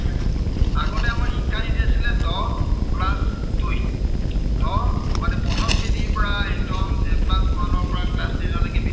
মানে প্ৰথম শ্ৰেণীৰ পৰাই একদম class one ৰ পৰাই class ten লৈকে